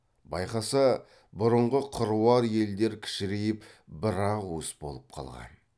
байқаса бұрынғы қыруар елдер кішірейіп бір ақ уыс болып қалған